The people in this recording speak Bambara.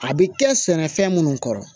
A bɛ kɛ sɛnɛfɛn minnu kɔrɔ